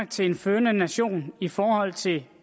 til en førende nation i forhold til